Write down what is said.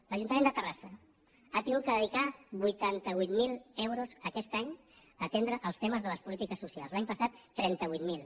l’ajuntament de terrassa ha hagut de dedicar vuitanta vuit mil euros aquest any a atendre els temes de les polítiques socials l’any passat trenta vuit mil